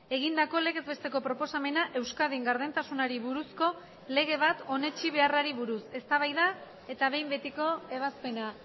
egindako legez besteko proposamena euskadin gardentasunari buruzko lege bat onetsi beharrari buruz eztabaida eta behin betiko ebazpena